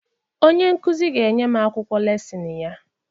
Onye nkụzi ga-enye m akwụkwọ lesịn ya